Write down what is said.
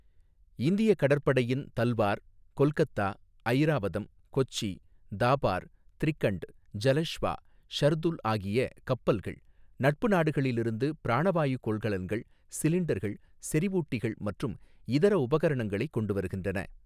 இந்தியக் கடற்படையின் தல்வார், கொல்கத்தா, ஐராவதம், கொச்சி, தாபார், த்ரிகண்ட், ஜலஷ்வா, ஷர்துல் ஆகிய கப்பல்கள் நட்பு நாடுகளிலிருந்து பிராணவாயுக் கொள்கலன்கள் சிலிண்டர்கள் செறிவூட்டிகள் மற்றும் இதர உபகரணங்களைக் கொண்டு வருகின்றன.